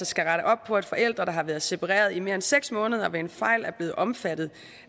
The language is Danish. skal rette op på at forældre der har været separeret i mere end seks måneder ved en fejl er blevet omfattet